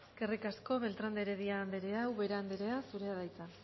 eskerrik asko beltrán de heredia anderea ubera anderea zurea da hitza